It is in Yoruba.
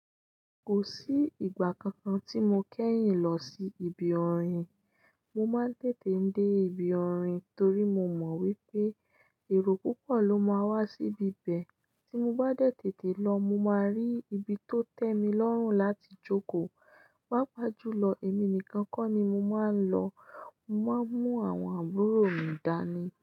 Kò sí ìgbà kankan tí mo kẹ́yìn lọ sí ibi orin. Mo máa ń tètè dé ibi orin torí mo mọ̀ wípé èrò púpọ̀ ló máa wá síbi ibẹ̀, tí mo bá dẹ̀ tètè lọ mo máa rí ibi tó tẹ́ mi lọ́rùn láti jókòó. Pápá jù lọ, èmi nìkan kọ́ ni mo máa ń lọ. Mo máa ń mú àwọn àbúrò mi dání.